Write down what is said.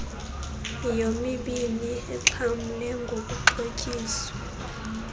yomibini ixhamle ngokuxhotyiswa